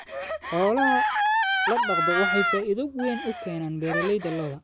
Xoolaha dhaqda waxay faa'iido weyn u keenaan beeralayda lo'da.